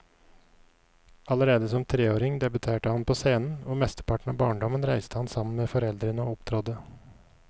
Allerede som treåring debuterte han på scenen, og mesteparten av barndommen reiste han sammen med foreldrene og opptrådte.